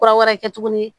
Kura wɛrɛ kɛ tuguni